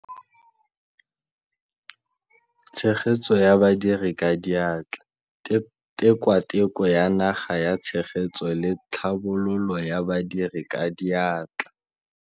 Tshegetso ya Badiri ka Diatla Tikwatikwe ya Naga ya Tshegetso le Tlhabololo ya Badiri ka Diatla.